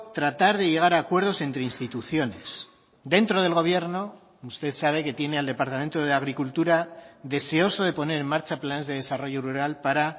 tratar de llegar a acuerdos entre instituciones dentro del gobierno usted sabe que tiene al departamento de agricultura deseoso de poner en marcha planes de desarrollo rural para